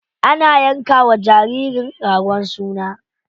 Ana yanka wa jaririn ragon suna.